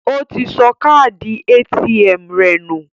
Ó ti sọ káàdì ATM rẹ̀ nù